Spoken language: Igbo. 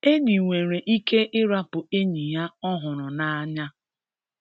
Enyi nwere ike ịrapụ enyi ya ọhụrụ n’anya.